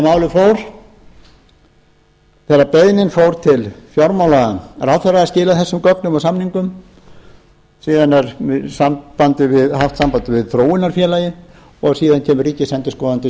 sem málið fór þegar beiðnin fór til fjármálaráðherra að skila þessum gögnum og samningum síðan er haft samband við þróunarfélagið og síðan kemur ríkisendurskoðandi sem